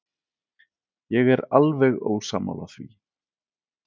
Ég er alveg ósammála því.